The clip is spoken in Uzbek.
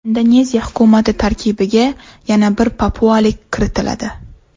Indoneziya hukumati tarkibiga yana bir papualik kiritiladi.